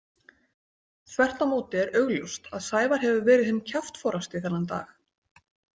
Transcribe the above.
Þvert á móti er augljóst að Sævar hefur verið hinn kjaftforasti þennan dag.